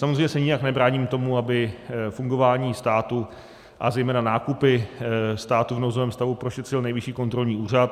Samozřejmě se nijak nebráním tomu, aby fungování státu a zejména nákupy státu v nouzovém stavu prošetřil Nejvyšší kontrolní úřad.